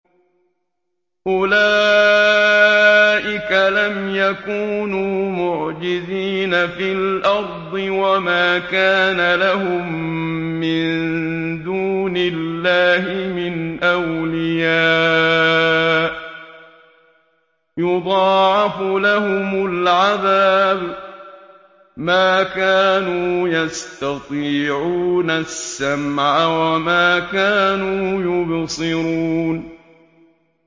أُولَٰئِكَ لَمْ يَكُونُوا مُعْجِزِينَ فِي الْأَرْضِ وَمَا كَانَ لَهُم مِّن دُونِ اللَّهِ مِنْ أَوْلِيَاءَ ۘ يُضَاعَفُ لَهُمُ الْعَذَابُ ۚ مَا كَانُوا يَسْتَطِيعُونَ السَّمْعَ وَمَا كَانُوا يُبْصِرُونَ